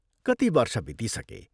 कति वर्ष बितिसके।